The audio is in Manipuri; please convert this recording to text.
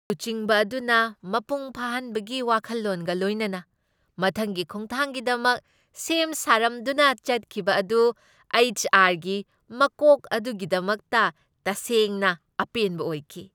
ꯂꯨꯆꯤꯡꯕ ꯑꯗꯨꯅ ꯃꯄꯨꯡ ꯐꯥꯍꯟꯕꯒꯤ ꯋꯥꯈꯜꯂꯣꯟꯒ ꯂꯣꯏꯅꯅ ꯃꯊꯪꯒꯤ ꯈꯣꯡꯊꯥꯡꯒꯤꯗꯃꯛ ꯁꯦꯝ ꯁꯥꯔꯝꯗꯨꯅ ꯆꯠꯈꯤꯕ ꯑꯗꯨ ꯑꯩꯆ. ꯑꯥꯔ. ꯒꯤ ꯃꯀꯣꯛ ꯑꯗꯨꯒꯤꯗꯃꯛꯇ ꯇꯁꯦꯡꯅ ꯑꯄꯦꯟꯕ ꯑꯣꯏꯈꯤ ꯫